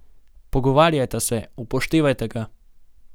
Pogovarjajta se, upoštevajte ga.